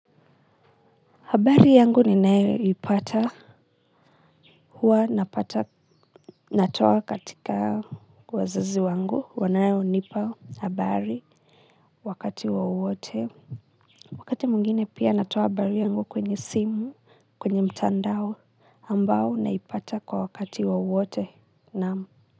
Habari yangu ninayoipata huwa napata, natoa katika wazazi wangu wanaonipa habari wakati wowote. Wakati mwingine pia natoa habari yangu kwenye simu kwenye mtandao ambao naipata kwa wakati wowote, naam.